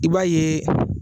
I b'a ye